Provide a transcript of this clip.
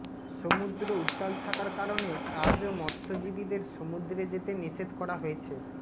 সমুদ্র উত্তাল থাকার কারণে আজও মৎস্যজীবীদের সমুদ্রে যেতে নিষেধ করা হয়েছে